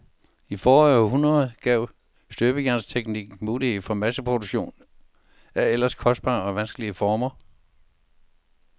I forrige århundrede gav støbejernsteknikken mulighed for masseproduktion af ellers kostbare og vanskelige former.